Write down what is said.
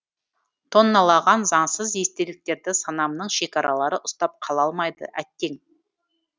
тонналаған заңсыз естеліктерді санамның шекаралары ұстап қала алмайды әттең